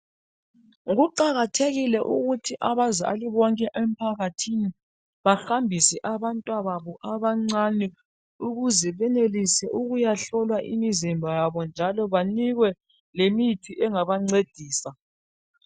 kuqakathekile ukuthi abazali bonke emphakathini bahambise abantwana babo abancane ukuze benelise ukuyahlolwa imizimba yabo njalo banikwe lemithi engabancedisa